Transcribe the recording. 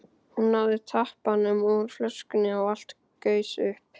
Hún náði tappanum úr flöskunni og allt gaus upp.